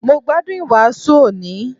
Mo gbádùn ìwàásù òní